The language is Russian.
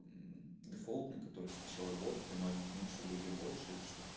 мм дефолт на который сначала рвота там у одних меньше у других больше или что